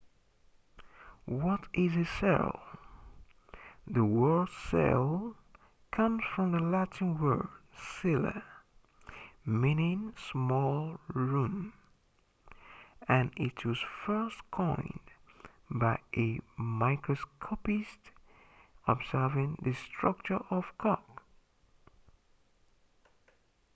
what is a cell the word cell comes from the latin word cella meaning small room and it was first coined by a microscopist observing the structure of cork